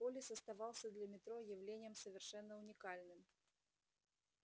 полис оставался для метро явлением совершенно уникальным